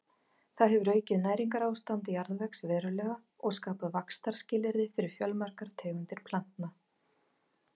Það hefur aukið næringarástand jarðvegs verulega og skapað vaxtarskilyrði fyrir fjölmargar tegundir plantna.